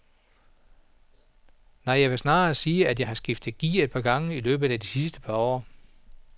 Nej, jeg vil snarere sige at jeg har skiftet gear et par gange i løbet af de sidste par år.